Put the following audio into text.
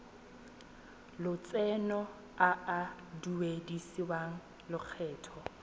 lotseno a a duedisiwang lokgetho